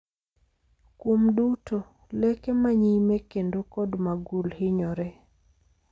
kuom duto, leke ma nyime kendo kod magul hinyore